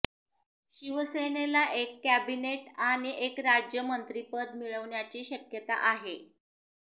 शिवसेनेला एक कॅबिनेट आणि एक राज्यमंत्रिपद मिळण्याची शक्यता आहे